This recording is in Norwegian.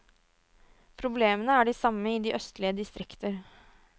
Problemene er de samme i de østlige distrikter.